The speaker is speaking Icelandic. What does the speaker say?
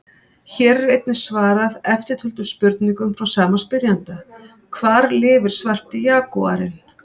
Hér er einnig svarað eftirtöldum spurningum frá sama spyrjanda: Hvar lifir svarti jagúarinn?